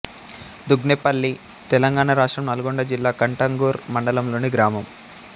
దుగ్నేవల్లి తెలంగాణ రాష్ట్రం నల్గొండ జిల్లా కట్టంగూర్ మండలంలోని గ్రామం